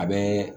A bɛ